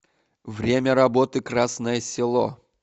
время работы красное село